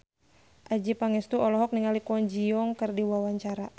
Adjie Pangestu olohok ningali Kwon Ji Yong keur diwawancara